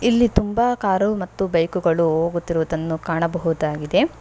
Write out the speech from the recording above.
ಇಲ್ಲಿ ತುಂಬಾ ಕಾರು ಮತ್ತು ಬೈಕು ಗಳು ಹೋಗುತ್ತಿರುವುದನ್ನು ಕಾಣಬಹುದಾಗಿದೆ.